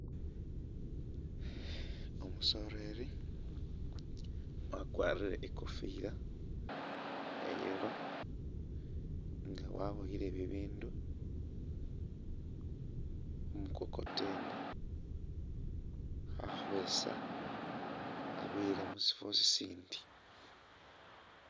Umusoreri wakwarire i'kofila iya yellow nga waboyile bibindu khu mukokoteni khakhweesa abiyila musifwo sisindi.